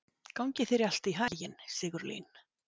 Gangi þér allt í haginn, Sigurlín.